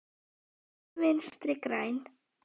Ekki Vinstri græn.